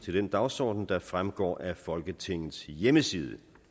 til den dagsorden der fremgår af folketingets hjemmeside